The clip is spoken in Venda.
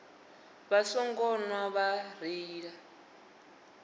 vha songo nwa vha reila